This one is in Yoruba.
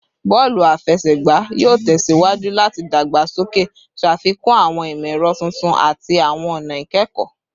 Bọọlu afẹsẹgba yoo tẹsiwaju lati dagbasoke, ṣafikun awọn imọ-ẹrọ tuntun ati awọn ọna ikẹkọ